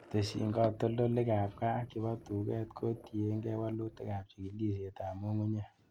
Tesyin katoltolikab gaa ak chebo tuket kotiengei wolutikab chikilisietab ng'ung'unyek.